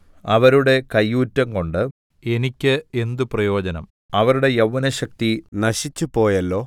അവരുടെ കയ്യൂറ്റംകൊണ്ട് എനിക്ക് എന്ത് പ്രയോജനം അവരുടെ യൗവ്വനശക്തി നശിച്ചുപോയല്ലോ